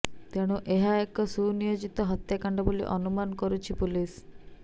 ତେଣୁ ଏହା ଏକ ସୁନିୟୋଜିତ ହତ୍ୟାକାଣ୍ଡ ବୋଲି ଅନୁମାନ କରୁଛି ପୁଲିସ